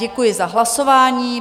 Děkuji za hlasování.